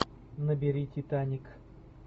набери титаник